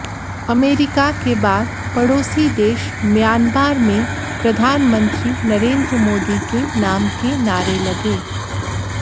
America के बाद पड़ोसी देश म्यांमार में प्रधानमंत्री नरेंद्र मोदी के नाम के नारे लगे